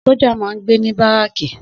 Sójà máa n gbé ní báràkì